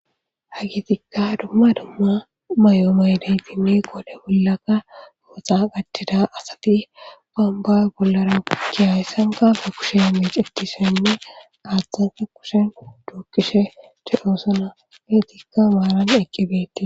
Ha gitikka dumma dumma may'oo maydaytini qode bollaka ooxa gachthida asati gamba bollara giyayssanka ga kushe a mic eqtisoinne aathtanta kushen duokkishe che'oosona geetikka maaran eqqibeti.